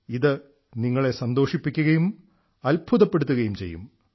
ഇതു നിങ്ങളെ സന്തോഷിപ്പിക്കുകയും അത്ഭുതപ്പെടുത്തുകയം ചെയ്യും